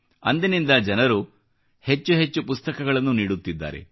ಅಂದಿನಿಂದ ಜನರು ಹೆಚ್ಚೆಚ್ಚು ಪುಸ್ತಕಗಳನ್ನು ನೀಡುತ್ತಿದ್ದಾರೆ